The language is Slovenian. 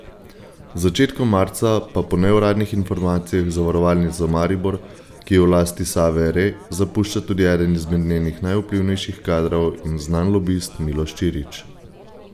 Z začetkom marca pa po neuradnih informacijah Zavarovalnico Maribor, ki je v lasti Save Re, zapušča tudi eden izmed njenih najvplivnejših kadrov in znan lobist Miloš Čirič.